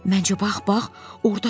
Məncə, bax-bax, ordadır.